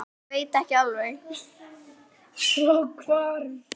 Já, ég veit ekki alveg.